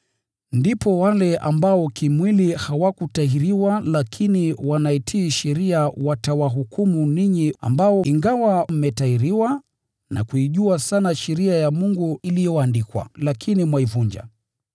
Ndipo wale ambao hawakutahiriwa kimwili lakini wanaitii sheria watawahukumu ninyi, ambao ingawa mmetahiriwa na kuijua sana sheria ya Mungu iliyoandikwa, lakini mwaivunja.